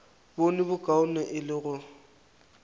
bone bokaone e le go